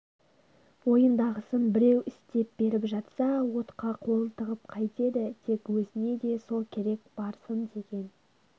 ойындағысын біреу істеп беріп жатса отқа қолын тығып қайтеді тек өзіне де сол керек барсын деген